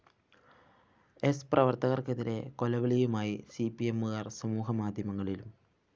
സ്‌ പ്രവര്‍ത്തകര്‍ക്കെതിരെ കൊലവിളിയുമായി സിപിഎമ്മുകാര്‍ സമൂഹ മാധ്യമങ്ങളിലും